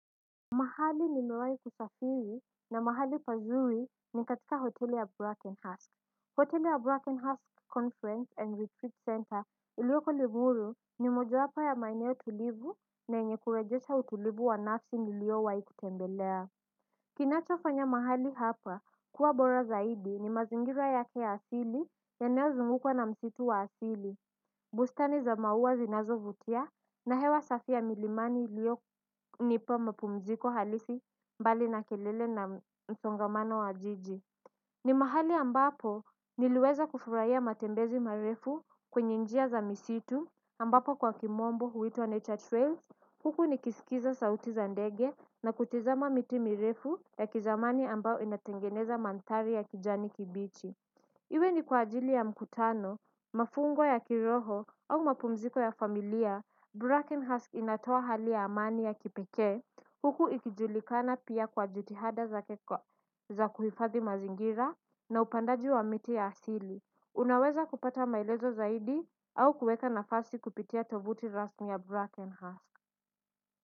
Mahali nimewahi kusafiri na mahali pazuri ni katika hoteli ya Brackenhurst. Hoteli ya Brackenhurst Conference and Retreat Center iliyoko limuru ni mojowapo ya maeneo tulivu na yenye kurejesha utulivu wa nafsi niliyo wahi kutembelea. Kinacho fanya mahali hapa kuwa bora zaidi ni mazingira yake ya asili yanayo zungukwa na msitu wa asili. Bustani za maua zinazo vutia na hewa safi ya milimani iliyo nipa mapumziko halisi mbali na kelele na msongamano wa jiji. Ni mahali ambapo niliweza kufurahia matembezi marefu kwenye njia za msitu ambapo kwa kimombo huitwa Nature Trails. Huku nikisikiza sauti za ndege na kutizama miti mirefu ya kizamani ambao inatengeneza mandhari ya kijani kibichi. Iwe ni kwa ajili ya mkutano, mafungo ya kiroho au mapumziko ya familia, Brackenhusk inatoa hali ya amani ya kipeke, huku ikijulikana pia kwa jutihada zake za kuhifadhi mazingira na upandaji wa miti ya asili. Unaweza kupata maelezo zaidi au kuweka nafasi kupitia tovuti rasmi ya Brackenhusk.